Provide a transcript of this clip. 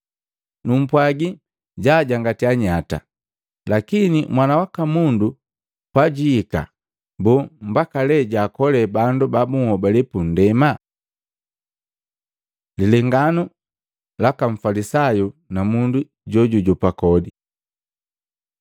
Numpwagi jaajangatya nyata. Lakini Mwana waka Mundu pajwiika, boo, mbaka lee jwaakolee bandu babunhobale pundema?” Lilenganu laka Mfalisayu na mundu jojujopa kodi